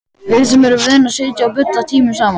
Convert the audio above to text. Við sem erum vön að sitja og bulla tímunum saman.